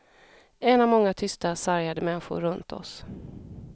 En av många tysta sargade människor runt oss.